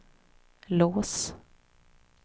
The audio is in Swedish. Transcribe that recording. lås